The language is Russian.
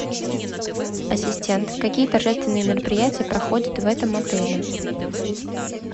ассистент какие торжественные мероприятия проходят в этом отеле